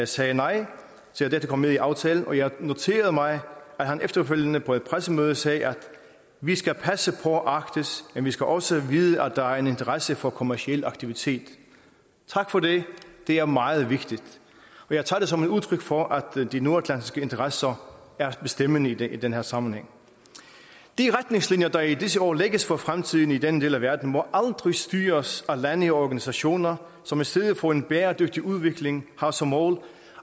sagde nej til at dette kom med i aftalen og jeg noterede mig at han efterfølgende på et pressemøde sagde vi skal passe på arktis men vi skal også vide at der er en interesse for kommerciel aktivitet tak for det det er meget vigtigt og jeg tager det som et udtryk for at de nordatlantiske interesser er bestemmende i den den her sammenhæng de retningslinjer der i disse år lægges for fremtiden i den del af verden må aldrig styres af lande og organisationer som i stedet for en bæredygtig udvikling har som mål